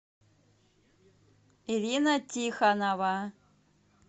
ирина тихонова